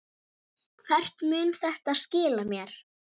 Kvíðirðu því starfi?